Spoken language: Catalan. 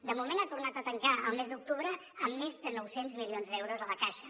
de moment ha tornat a tancar al mes d’octubre amb més de nou cents milions d’euros a la caixa